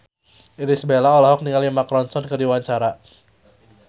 Irish Bella olohok ningali Mark Ronson keur diwawancara